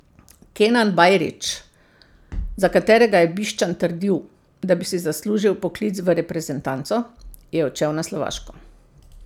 Kenan Bajrić, za katerega je Bišćan trdil, da bi si zaslužil vpoklic v reprezentanco, je odšel na Slovaško.